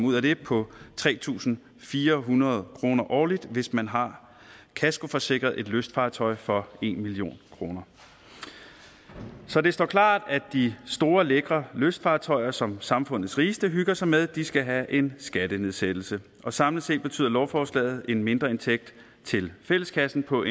ud af det på tre tusind fire hundrede kroner årligt hvis man har kaskoforsikret et lystfartøj for en million kroner så det står klart at de store lækre lystfartøjer som samfundets rigeste hygger sig med skal have en skattenedsættelse samlet set betyder lovforslaget en mindreindtægt til fælleskassen på